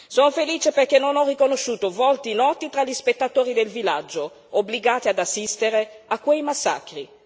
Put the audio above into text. Sono felice perché non ho riconosciuto volti noti tra gli spettatori del villaggio, obbligati ad assistere a quei massacri.